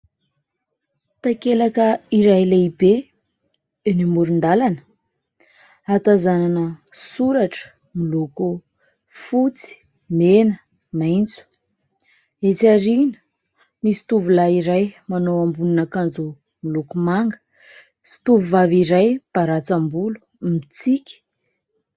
Takelaka iray lehibe, eny amoron-dalana. Ahatazanana soratra miloko fotsy, mena, maitso. Etsy aoriana, misy tovolahy iray manao ambonin'akanjo miloko manga sy tovovavy iray mbaratsam-bolo mitsiky.